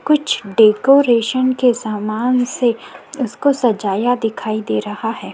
कुछ डेकोरेशन के सामान से उसको सजाया दिखाई दे रहा है।